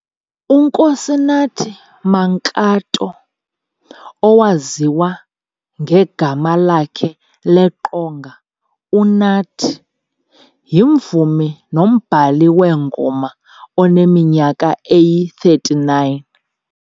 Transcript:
U-Nkosinathi Mankato, owaziya ngegama lakhe leqonga uNathi yimvumi nombhali weengoma oneminyaka eyi 39.